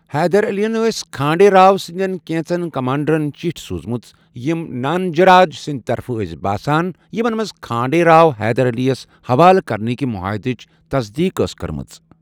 حیدر علین ٲس کھانڈے راو سٕنٛدٮ۪ن کینژن کمانڈرن چٹھۍ سوٗزمٕژ یم نانجراج سٕنٛدۍ طرفہٕ ٲس باسان یِمن منٛز کھانڈے راو حیدر علَیس حوالہٕ کرنٕکۍ معاہدچ تصدیٖق ٲس آمٕژ کرنہٕ۔